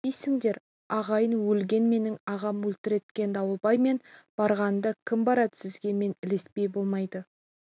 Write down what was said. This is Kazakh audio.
не дейсіңдер ағайын өлген менің ағам өлтірткен дауылбай мен бармағанда кім барад сізге мен ілеспей болмайды